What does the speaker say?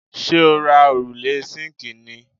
Ṣé o ra òrùlé síǹkì ni+